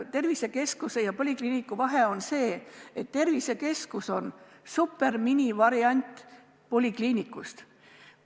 Tervisekeskuse ja polikliiniku vahe on see, et tervisekeskus on superminivariant polikliinikust.